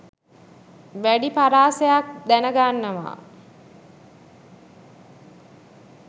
වැඩි පරාසයක් දැන ගන්නවා